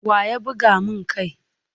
Wa ya buga mun kai?